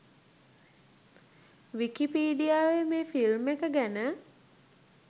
විකීපිඩියාවේ මේ ‍ෆිල්ම් එක ගැන